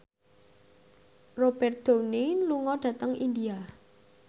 Robert Downey lunga dhateng India